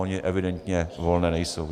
Ony evidentně volné nejsou.